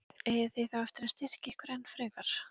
Eigið þið þá eftir að styrkja ykkur enn frekar?